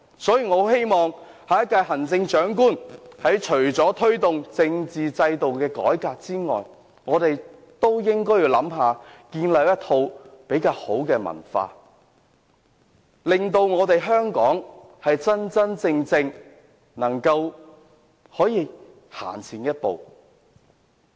所以，我希望下一屆行政長官除了推動政府制度改革外，還要考慮建立一套比較好的文化，令香港能夠真正走前一步。